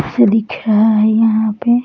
ऐसा दिख रहा है यहाँ पे।